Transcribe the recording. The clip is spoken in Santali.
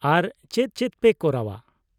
ᱟᱨ ᱪᱮᱫ ᱪᱮᱫ ᱯᱮ ᱠᱚᱨᱟᱣᱼᱟ ?